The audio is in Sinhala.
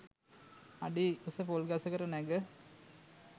අඩිඋස පොල් ගසකට නැග